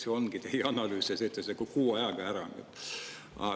See ongi teie analüüs ja te teete selle kuu ajaga ära.